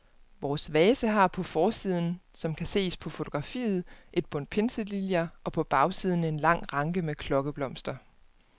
Vores vase har på forsiden, som kan ses på fotografiet, et bundt pinseliljer og på bagsiden en lang ranke med klokkeblomster.